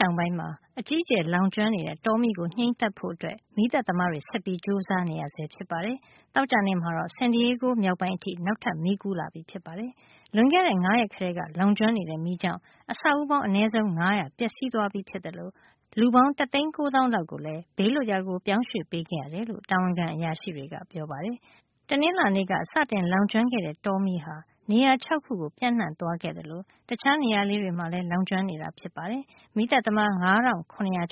တောင်ပိုင်းမှာ အကြီးအကျယ် လောင်ကျွမ်းနေတဲ့ တောမီးကို ငြိမ်းသတ်ဖို့ မီးသတ်သမားတွေ ဆက်ပြီး ကြိုးစား နေရဆဲ ဖြစ်ပါတယ်။ သောကြာနေ့မှာတော့ San Diego မြောက်ပိုင်းအထိ နောက်ထပ် မီးကူးလာပြီ ဖြစ်ပါတယ်။ လွန်ခဲ့တဲ့ ၅ ရက် ကတည်းက လောင်ကျွမ်းနေတဲ့ မီးကြောင့် အဆောက်အဦးပေါင်း အနည်း ဆုံး ၅၀၀ ပျက်စီးသွားပြီး ဖြစ်သလို လူပေါင်း တသိန်း ကိုးသောင်းလောက်ကို လည်း ဘေးလွတ်ရာကို ပြောင်းရွှေ့ပေးခဲ့ရတယ်လို့ တာဝန်ခံ အရာရှိတွေက ပြောပါတယ်။ တနင်္လာနေ့က စတင်လောင်ကျွမ်းခဲ့တဲ့ တောမီးဟာ နေရာ ၆ ခုမှာ ကို ပြန့်နှံ့သွားခဲ့သလို တခြားနေရာ လေးတွေမှာလည်း လောင်ကျွမ်း နေတာ ဖြစ်ပါတယ်။ မီးသတ်သမား ၅၇၀၀